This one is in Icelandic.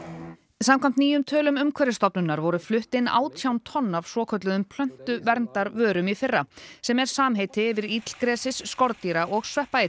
samkvæmt nýjum tölum Umhverfisstofnunar voru flutt inn átján tonn af svokölluðum plöntuverndarvörum í fyrra sem er samheiti yfir illgresis skordýra og